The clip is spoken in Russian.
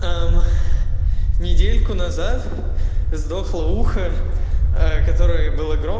аа м недельку назад сдохло ухо ээ которое было гром